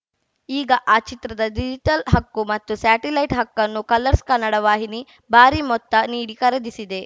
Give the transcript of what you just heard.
ಈಗ ಆ ಚಿತ್ರದ ಡಿಜಿಟಲ್‌ ಹಕ್ಕು ಮತ್ತು ಸ್ಯಾಟಲೈಟ್‌ ಹಕ್ಕನ್ನು ಕಲರ್ಸ್‌ ಕನ್ನಡ ವಾಹಿನಿ ಭಾರಿ ಮೊತ್ತ ನೀಡಿ ಖರೀದಿಸಿದೆ